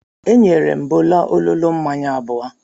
E nyere m Bolu ololo mmanya abụọ.